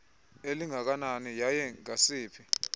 elingakanani yaye ngasiphi